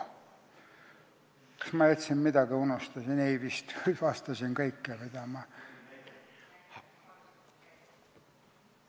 Kas ma jätsin midagi ütlemata või unustasin?